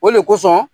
O de kosɔn